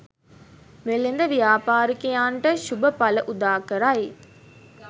වෙළෙඳ ව්‍යාපාරිකයන්ට ශුභඵල උදාකරයි.